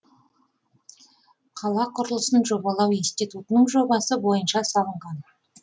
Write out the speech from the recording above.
қала құрылысын жобалау институтының жобасы бойынша салынған